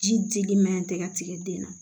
Ji dili man ɲi tɛ ka tigɛ den na